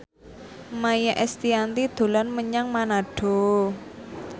Maia Estianty dolan menyang Manado